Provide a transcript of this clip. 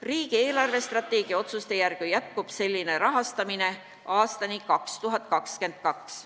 Riigi eelarvestrateegia otsuste järgi jätkub selline rahastamine aastani 2022.